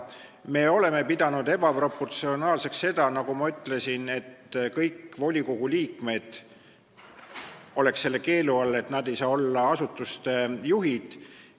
Me oleme pidanud ebaproportsionaalseks seda, nagu ma ütlesin, kui kõik volikogu liikmed oleksid selle keelu all ega saaks olla asutuste juhid.